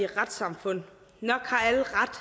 retssamfund nok har alle ret